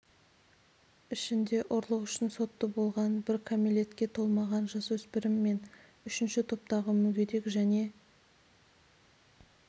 ішінде ұрлық үшін сотты болған бір кәмелетке толмаған жасөспірім мен бір үшінші топтағы мүгедек және